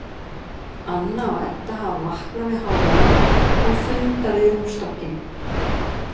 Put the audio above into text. Anna og Edda hafa vaknað við hávaðann og funda við rúmstokkinn.